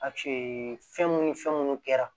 fɛn mun ni fɛn munnu kɛra